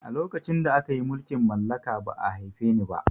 A lokacin da akayi mulkin mallaka ba'a haife ni ba